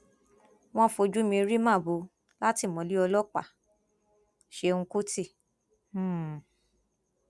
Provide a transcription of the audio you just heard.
wọn fojú mi rí màbo látìmọlẹ ọlọpàáṣẹùn kùtì um